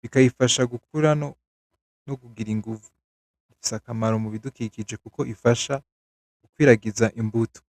bikayifasha gukura no kugira inguvu. Ifise akamaro mu bidukikije kuko ifasha mu gukwiragiza imbuto.